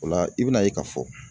O la i bɛna ye k'a fɔ